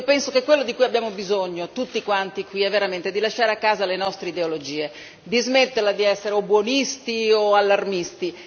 Penso che quello di cui abbiamo bisogno, tutti quanti qui, è di lasciare a casa le nostre ideologie, di smetterla di essere o buonisti o allarmisti.